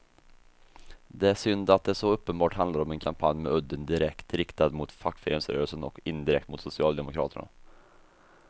Det är synd att det så uppenbart handlar om en kampanj med udden direkt riktad mot fackföreningsrörelsen och indirekt mot socialdemokraterna.